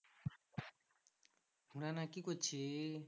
না না কি করছিস?